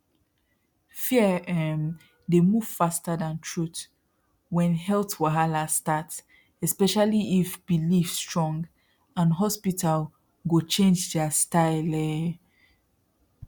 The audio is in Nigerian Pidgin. fear um dey move faster than truth when health wahala start especially if belief strong and hospital go change their style um